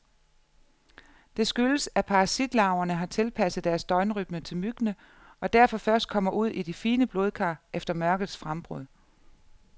Det skyldes, at parasitlarverne har tilpasset deres døgnrytme til myggene, og derfor først kommer ud i de fine blodkar efter mørkets frembrud.